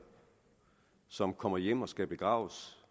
som kommer hjem og skal begraves